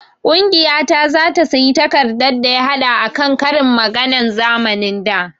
Ƙungiya ta zata sayi takardar daya haɗa akan ƙarin maganan zamanin da